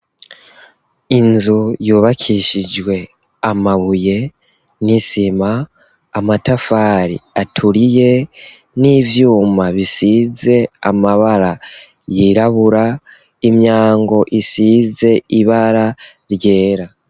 Inzu yubakishijwe amabuye n'isima, amatafari aturiye, n'ivyuma bisize amabara yirabura, imyango isize ibara ryera.